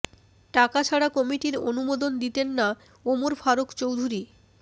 টাকা ছাড়া কমিটির অনুমোদন দিতেন না ওমর ফারুক চৌধুরী